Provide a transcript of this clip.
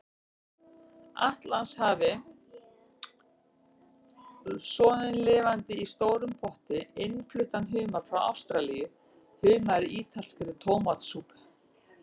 Atlantshafi, soðinn lifandi í stórum potti, innfluttan humar frá Ástralíu, humar í ítalskri tómatsúpu.